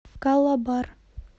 калабар